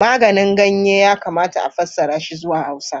"Maganin ganye" yakamata a fassara shi zuwa Hausa.